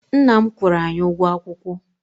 Nna m kwụrụ anyị ụgwọ akwụkwọ.